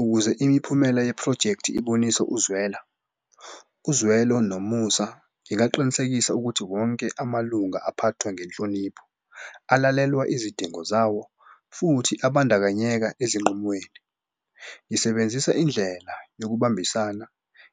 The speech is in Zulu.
Ukuze imiphumela yephrojekthi ibonise ukuzwela uzwelo nomusa, ngingaqinisekisa ukuthi wonke amalunga aphathwe ngenhlonipho alalelwe izidingo zawo futhi abandakanyeka ezinqumweni. Ngisebenzisa indlela yokubambisana,